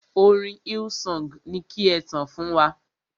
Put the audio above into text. Orin Hillsong ni ki e tàn fún wa.